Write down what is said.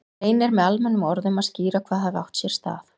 Reynir með almennum orðum að skýra hvað hafi átt sér stað.